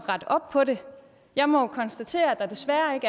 rette op på det jeg må konstatere at der desværre ikke